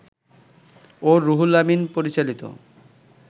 ও রুহুল আমিন পরিচালিত